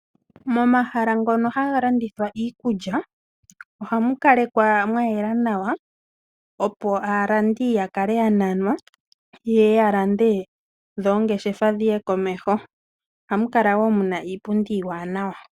Momahala ngono haga landithwa iikulya ohamu kalekwa mwa yela nawa opo aalandi ya kale ya nanwa yeye ya lande dho oongeshefa dhiye komeho. Ohamu kala wo muna iipundi iiwanawa.